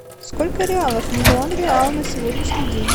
сколько реалов миллион реал на сегодняшний день